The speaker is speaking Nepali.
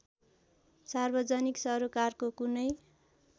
सार्वजनिक सरोकारको कुनै